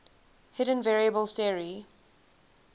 hidden variable theory